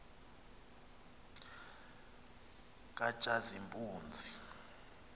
katshazimpunzi